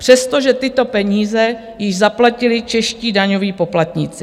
Přestože tyto peníze již zaplatili čeští daňoví poplatníci.